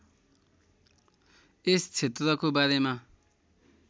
यस क्षेत्रको बारेमा